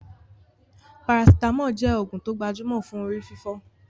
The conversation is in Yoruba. Paracetamol jẹ oògùn tó gbajúmọ̀ fún orí fífọ́